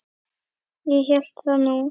Ég hélt það nú.